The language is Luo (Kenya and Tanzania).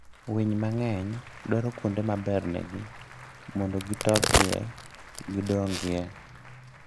winy mang'eny dwaro kuonde ma bernegi mondo gi tokie gidong'ie.